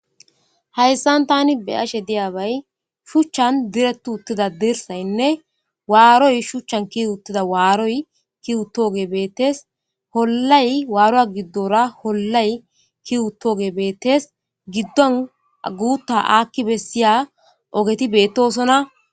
hayssan tani be ashe diyabay shuchchan direttu uttida dirsaynne waaroy shuchchan kiu uttida waaroy ki utooge beettes hollay waaroa giddora hollay kiwuttooge beettes giddon aguutta aakki bessiya ogeti beettosona